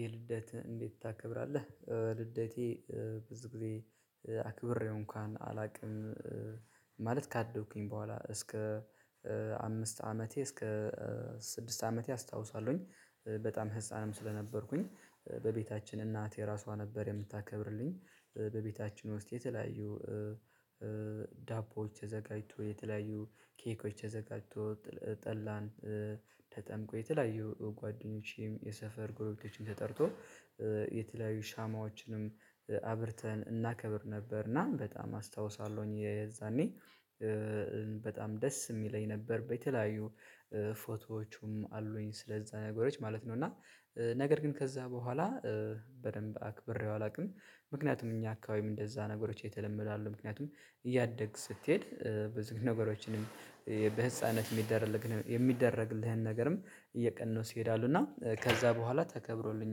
የልደት እንዴት ታከብራለህ? ልደቴ ብዙ ጊዜ አክብሬው እንኳን አላውቅም። ማለት ካደግኩኝ በኋላ እስከ አምስት አመቴ እስከ ስድስት አመቴ አስታውሰዋለሁኝ በጣም ህፃንም ስለነበርኩኝ በቤታችን እናቴ ራሷ ነበር የምታከብርልኝ። በቤታችን ውስጥ የተለያዩ ዳቦዎች ተዘጋጅተው የተለያዩ ኬኮች ዘጋጅተው ጠላን ተጠምቆ የተለያዩ ጓደኞቼም የሰፈር ጎረቤቶቼን ተጠርቶ የተለያዩ ሻማዎችንም አብርተን እናከብር ነበርና በጣም አስታውሳለሁኝ የዛኔ በጣም ደስ የሚለኝ ነበር በተለያዩ ፎቶዎቹም አሉኝ ስለዛ ነገሮች ማለት ነው። እና ነገር ግን ከዛ በኋላ በደንብ አክብሬው አላውቅም ምክንያቱም እኛ አካባቢ እንደዛ ነገሮች የተለመዱ አይደሉም ምክንያቱም እያደግህ ስትሄድ ብዙ ነገሮችንም በህፃንነት የሚደረግልህን ነገርም እየቀነሱ ይሄዳሉ እና ከዛ በኋላ ተከብሮልኝ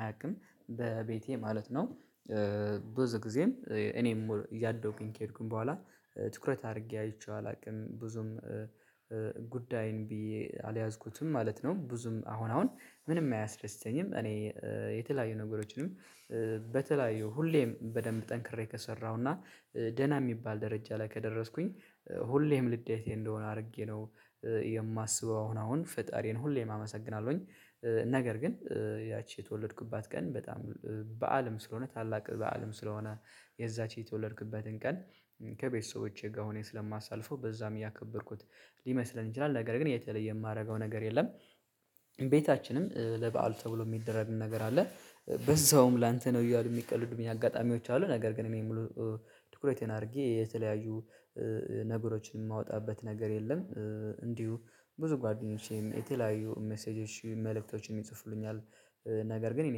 አያውቅም በቤቴ ማለት ነው። ብዙ ጊዜም እኔም እያደኩኝ ከሄድኩኝ በኋላ ትኩረት አድርጌ አይቼው አላውቅም ብዙም ጉዳይም ብዬ አልያዝኩትም ማለት ነው። ብዙም አሁን አሁን ምንም አያስደስተኝም እኔ የተለያዩ ነገሮችንም በተለያዩ ሁሌም በደንብ ጠንክሬ ከሰራሁና ደህና የሚባል ደረጃ ላይ ከደረስኩኝ ሁሌም ልዴቴ እንደሆነ አድርጌ ነው። የማስበው አሁን አሁን ፈጣሪን ሁሌም አመሰግናለሁኝ ነገር ግን ያቺ የተወለድኩባት ቀን በጣም በዓልም ስለሆነ ታላቅ በዓልም ስለሆነ የዛች የተወለድክበትን ቀን ከቤተሰቦቼ ጋር ሁነን ስለማሳልፈው በዛም እያከበርኩት ሊመስለን ይችላል ነገር ግን የተለየ የማደርገው ነገር የለም። ቤታችንም ለበአል ተብሎ የሚደረግ ነገር አለ በዛውም ላንተ ነው እያሉ የሚቀልዱኝ አጋጣሚዎች አሉ ነገር ግን እኔ ሙሉ ትኩረቴን አድርጌ የተለያዩ ነገሮችን የማወጣበት ነገር የለም። እንዲሁ ብዙ ጓደኞቼም የተለያዩ ሚሴጆች መልእክቶችን ይጽፍሉኛል ነገር ግን እኔ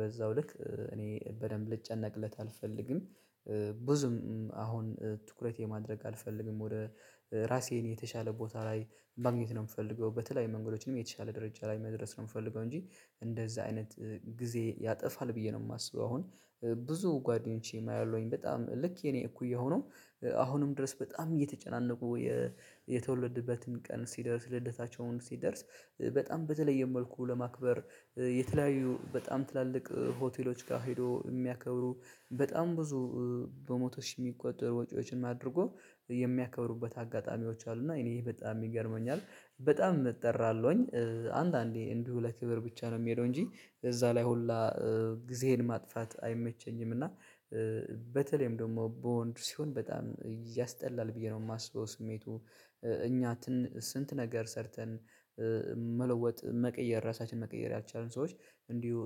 በዛው ልክ እኔ በደንብ ልጨነቅለት አልፈልግም። ብዙም አሁን ትኩረት የማድረግ አልፈልግም ወደ ራሴን የተሻለ ቦታ ላይ ማግኘት ነው የምፈልገው በተለይ መንገዶችም የተሻለ ደረጃ ላይ መድረስ ነው የምፈልገው። እንጂ እንደዛ አይነት ጊዜ ያጠፋል ብዬ ነው የማስበው አሁን። ብዙ ጓደኞቼ አያለሁኝ በጣም ልክ የኔ እኩያ ሆነው አሁንም ድረስ በጣም እየተጨናነቁ የተወለድንበትን ቀን ሲደርስ ልደታቸውም ሲደርስ በጣም በተለየ መልኩ ለማክበር የተለያዩ በጣም ትላልቅ ሆቴሎች ጋር ሄዶ የሚያከብሩ በጣም ብዙ በመቶ ሽ የሚቆጠሩ ወጪዎችን አድርጎ የሚያከብሩበት አጋጣሚዎች አሉና እኔ ይሄ በጣም ይገርመኛል። በጣም እጠራለሁኝ አንዳንዴ እንዲሁ ለክብር ብቻ ነው የምሄደው እንጂ እዛ ላይ ሁላ ጊዜየን ማጥፋት አይመቸኝም እና በተለይም ደግሞ በወንድ ሲሆን በጣም ያስጠላል ብዬ ነው የማስበው። ስሜቱ እኛ ስንት ነገር ሰርተን መለወጥ መቀየር ራሳችንን መቀየር ያልቻሉን ሰዎች እንዲሁ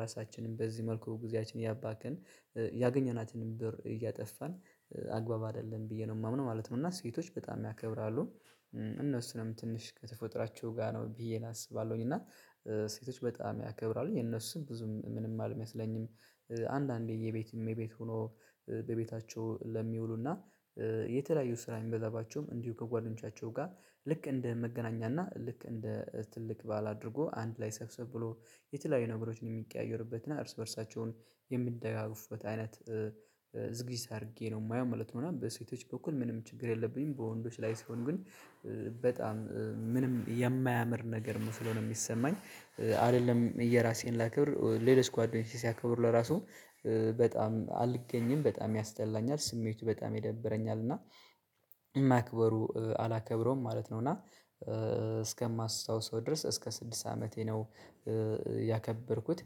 ራሳችንን በዚህ መልኩ ጊዜያችን እያባክን ያገኘናትንም ብር እያጠፋን አግባብ አይደለም ብዬ ነው የማምነው ማለት ነው። እና ሴቶች በጣም ያከብራሉ እነሱንም ትንሽ ከተፈጥራችሁ ጋር ነው ብዬ አስባለሁኝ እና ሴቶች በጣም ያከብራሉ የነሱም ብዙም ምንም አልመስለኝም። አንዳንዴ የቤት እመቤት ሆኖ በቤታቸው ለሚውሉና የተለያዩ ስራ የሚበዛባቸውም እንዲሁ ከጓደኞቻቸው ጋር ልክ እንደ መገናኛ ልክ እንደ ትልቅ በዓል አድርጎ አንድ ላይ ሰብሰብ ብሎ የተለያየ ነገሮችን የሚቀያየርበትና እርስ በርሳቸም የሚደጋገፉበት አይነት ዝግጅት አድርጌ ነው የማየው ማለት ነው። በሴቶች በኩል ምንም ችግር የለብኝም በወንዶች ላይ ስሆን ግን በጣም ምንም የማያምር ነገር መስሎ ነው የሚሰማኝ አይደለም የራሴን ላከብር ሌሎች ጓደኞቸ ሲያከብሩ ለራሱ በጣም አልገኝም በጣም ያስጠላኛል ስሜቱ በጣም ይደበረኛል እና ማክበሩ አላከብረውም ማለት ነው። እና እስከማስታውሰው ድረስ እስከ ስድስት አመቴ ነው ያከበርኩት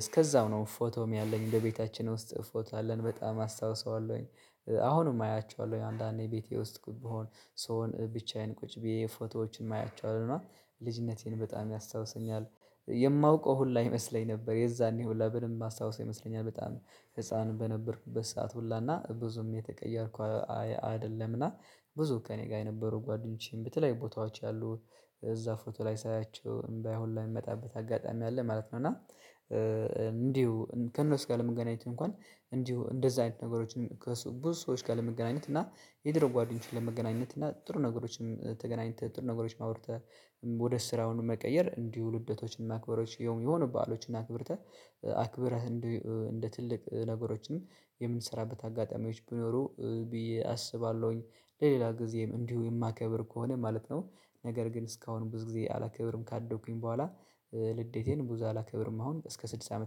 እስከዛው ነው ፎቶም ያለኝ በቤታችን ውስጥ ፎቶ አለን በጣም አስታውሰዋለሁኝ። አሁንም አያችኋለሁ አንዳንዴ ቤቴ ውስጥ ብሆን ስሶን ብቻዬን ቁጭ ብዬ የፎቶዎችን ማያቸው ነው ልጅነቴን በጣም ያስታውሰኛል። የማውቀው ሁላ ይመስለኝ ነበር የዛኔ ሁላ ብልም ማስታወስ ይመስለኛል በጣም ህፃን በነበርኩበት ሰዓት ሁላና ብዙም የተቀየርኩ አይደለምና ብዙ ከእኔ ጋር የነበሩ ጓደኞቼም በተለያዩ ቦታዎች ያሉ እዛ ፎቶ ላይ ሳያቸው እምባየ ሁላ የሚመጣበት አጋጣሚ አለ ማለት ነው። እና እንዲሁ ከእነሱ ጋር ለመገናኘት እንኳን እንዲሁ እንደዛ አይነት ነገሮችን ከብዙ ሰዎች ጋር ለመገናኘት እና የድሮ ጓደኞችን ለመገናኘት እና ጥሩ ነገሮችን ተገናኝተህ ጥሩ ነገሮችን አውርተህ ወደ ስራ መቀየር እንዲሁ ልደቶችን ማክበሮች የሆኑ በዓሎችን አክብርተህ አክብረህ እንደ እንደ ትልቅ ነገሮችንም የምንሰራበት አጋጣሚዎች ቢኖሩ ብዬ አስባለሁኝ ለሌላ ጊዜም እንዲሁ የማከብር ከሆነ ማለት ነው። ነገር ግን እስካሁን ብዙ ጊዜ አላከብርም ካደግኩኝ በኋላ ልደቴን ብዙ አላከብርም አሁን እስከ ስድስት አመት